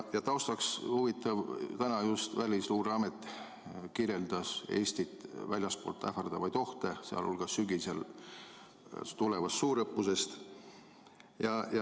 Ja taustaks on huvitav: täna just Välisluureamet kirjeldas Eestit väljastpoolt ähvardavaid ohte, sh räägiti sügisel tulevast suurõppusest.